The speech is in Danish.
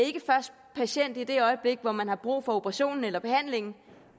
patient i det øjeblik hvor man har brug for operation eller behandling